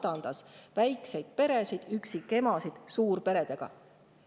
Ta vastandas väikseid peresid ja üksikemasid suurperedele.